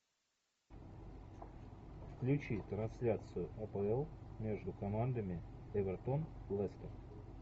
включи трансляцию апл между командами эвертон лестер